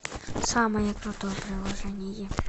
самое крутое приложение